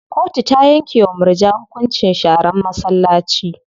Kotu ta yanke wa murja hukuncin sharan masallaci.